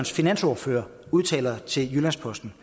finansordfører har udtalt til jyllands posten